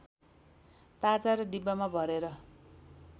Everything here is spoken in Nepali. ताजा र डिब्बामा भरेर